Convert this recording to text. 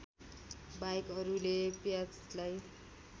बाहेक अरूले प्याजलाई